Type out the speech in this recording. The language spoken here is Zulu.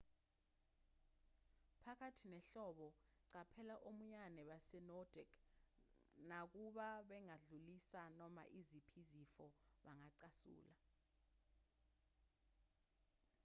phakathi nehlobo qaphela omiyane base-nordic nakuba bengadlulisi noma iziphi izifo bangacasula